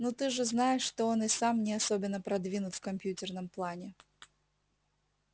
ну ты же знаешь что он и сам не особенно продвинут в компьютерном плане